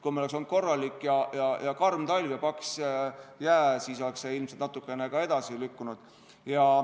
Kui meil oleks olnud korralik karm talv ja paks jää, siis oleks see ilmselt natukene edasi lükkunud.